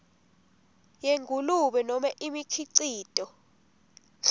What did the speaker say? yengulube nobe imikhicito